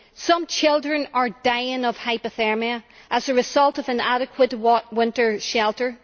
Some children are dying of hypothermia as a result of inadequate winter shelter.